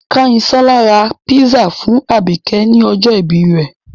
Kányinsọ́lá ra písà fún àbìkẹ́ ní ọjọ́ ìbí rẹ̀.